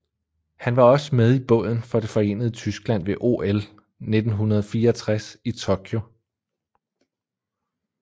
Han var også med i båden for det forenede Tyskland ved OL 1964 i Tokyo